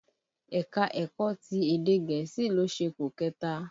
Ẹ̀ka-ẹ̀kọ ti èdè gẹ̀ẹ́sì ló ṣepò kẹ̀ta